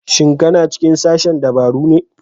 Shin ka na cikin sashen dabaru ne?